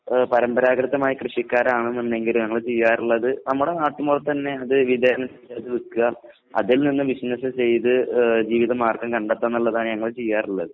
ആഹ് പരമ്പരാഗതമായ കൃഷിക്കാരാണെന്നുണ്ടെങ്കിലും ഞങ്ങള് ചെയ്യാറുള്ളത് നമ്മുടെ നാട്ടിൻപുറത്ത് തന്നെ അത് വിതരണം ചെയ്തു വിക്കുക അതിൽനിന്നും ബിസിനസ് ചെയ്തു ഏഹ് ജീവിതമാർഗം കണ്ടെത്താന്നുള്ളതാണ് ഞങ്ങൾ ചെയ്യാറുള്ളത്.